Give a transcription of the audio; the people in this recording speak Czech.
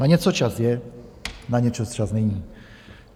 Na něco čas je, na něco čas není.